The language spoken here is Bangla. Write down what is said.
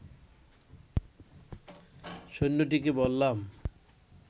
সৈন্যটিকে বললাম